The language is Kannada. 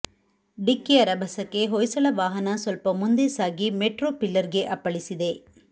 ಡಿಕ್ಕಿಯ ರಭಸಕ್ಕೆ ಹೊಯ್ಸಳ ವಾಹನ ಸ್ವಲ್ಪ ಮುಂದೆ ಸಾಗಿ ಮೆಟ್ರೊ ಪಿಲ್ಲರ್ಗೆ ಅಪ್ಪಳಿಸಿದೆ